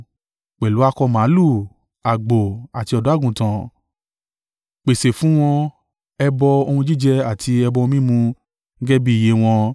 Pẹ̀lú akọ màlúù, àgbò, àti ọ̀dọ́-àgùntàn, pèsè fún wọn ẹbọ ohun jíjẹ àti ẹbọ ohun mímu gẹ́gẹ́ bí iye wọn.